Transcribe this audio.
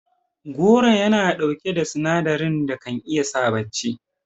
Goro Yana ɗauki da sinadarin da kan iya sa bacci